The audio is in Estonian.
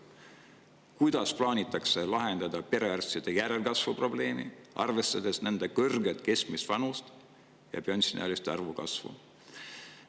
Kuidas plaanitakse lahendada perearstide järelkasvu probleemi, arvestades kõrget keskmist vanust ja pensioniealiste arvu kasvu?